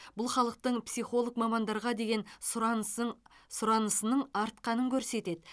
бұл халықтың психолог мамандарға деген сұранысын сұранысының артқанын көрсетеді